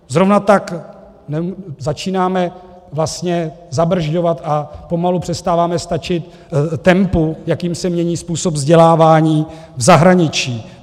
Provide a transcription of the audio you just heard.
Zrovna tak začínáme vlastně zabrzďovat a pomalu přestáváme stačit tempu, jakým se mění způsob vzdělávání v zahraničí.